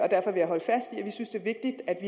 vi synes det